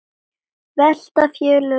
Velta félögin þessu fyrir sér?